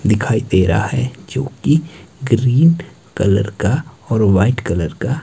दिखाई दे रहा है जो की ग्रीन कलर का और व्हाइट क्लर का--